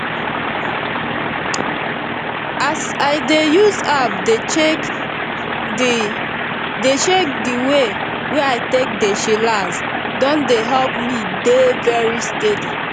as i dey use app dey check di check di way wey i take dey chillax don dey help me dey very steady